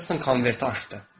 Heston konverti açdı.